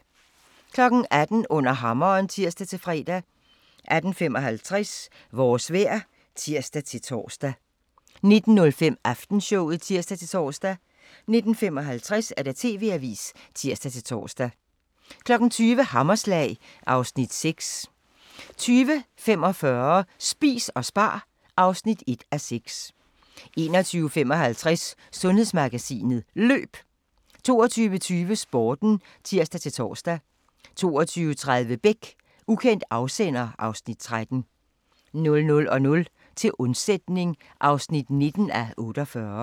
18:00: Under hammeren (tir-fre) 18:55: Vores vejr (tir-tor) 19:05: Aftenshowet (tir-tor) 19:55: TV-avisen (tir-tor) 20:00: Hammerslag (Afs. 6) 20:45: Spis og spar (1:6) 21:55: Sundhedsmagasinet: Løb 22:20: Sporten (tir-tor) 22:30: Beck: Ukendt afsender (Afs. 13) 00:00: Til undsætning (19:48)